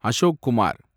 Ashok Kumar